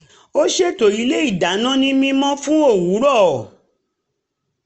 ó ṣètò ilé ìdáná ní mímọ́ fún òwúrọ̀